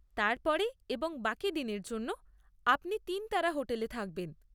তারপরে এবং বাকি দিনের জন্য আপনি তিন তারা হোটেলে থাকবেন।